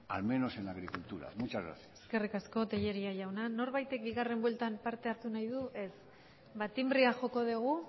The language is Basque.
al menos en la agricultura muchas gracias eskerrik asko tellería jauna norbaitek bigarren bueltan parte hartu nahi du ez ba tinbrea joko dugu